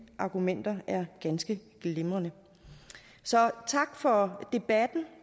argumenter er ganske glimrende så tak for debatten